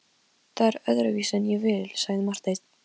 Það er öðruvísi en ég vil, sagði Marteinn.